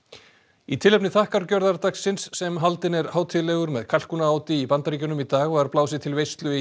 í tilefni sem haldinn er hátíðlegur með í Bandaríkjunum í dag var blásið til veislu í